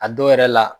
A dɔw yɛrɛ la